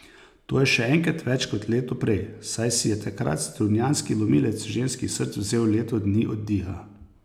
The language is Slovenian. To je še enkrat več kot leto prej, saj si je takrat strunjanski lomilec ženskih src vzel leto dni oddiha.